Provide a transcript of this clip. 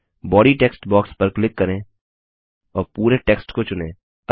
body text box पर click करें और पुरे टेक्स्ट को चुनें